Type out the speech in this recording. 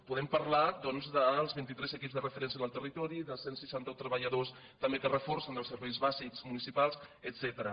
podem parlar doncs dels vint i tres equips de referència en el ter ritori dels cent i seixanta un treballadors també que reforcen els serveis bàsics municipals etcètera